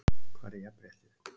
Hvar er jafnréttið??